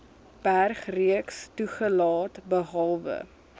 bergreeks toegelaat behalwe